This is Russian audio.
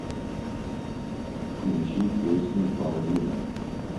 включи песню половины